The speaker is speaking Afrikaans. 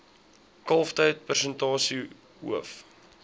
kalftyd persentasie hoof